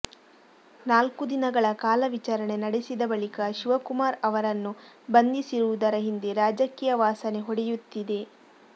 ನಾಲ್ಕು ದಿನಗಳ ಕಾಲ ವಿಚಾರಣೆ ನಡೆಸಿದ ಬಳಿಕ ಶಿವಕುಮಾರ್ ಅವರನ್ನು ಬಂಧಿಸಿರುವುದರ ಹಿಂದೆ ರಾಜಕೀಯ ವಾಸನೆ ಹೊಡೆಯುತ್ತಿದೆ